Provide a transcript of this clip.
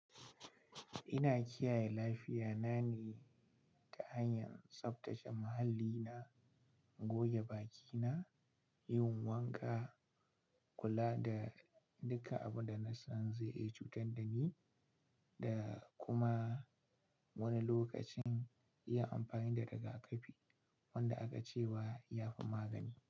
Ina kiyaye lafiya na ne ta hanyar tsaftace muhalli na, goge bakina, yin wanka, kula da duka abunda nasan zai iya cutar dani, da kuma wani lokacin yin amfani da rigakafi wanda aka ce wa ya fi magani.